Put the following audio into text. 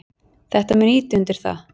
Þetta mun ýta undir það.